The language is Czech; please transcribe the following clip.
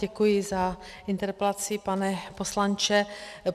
Děkuji za interpelaci, pane poslanče.